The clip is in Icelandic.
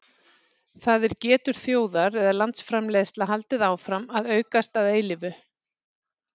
það er getur þjóðar eða landsframleiðsla haldið áfram að aukast að eilífu